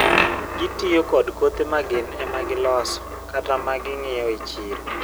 gii tiyo kod kothe ma gin ema gi loso kata magingieo e chiro